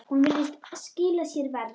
Hún virðist skila sér verr.